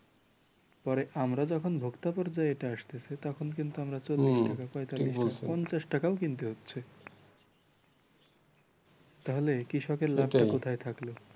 পরে আমরা যখন ভোক্তা পর্যায়ে এটা আসতেছে তখন কিন্তু আমরা চল্লিশ টাকা পয়তাল্লিশ টাকা পঞ্চাশ টাকায় কিনতে হচ্ছে। তাহলে কৃষকের লাভটা কোথায় থাকলো?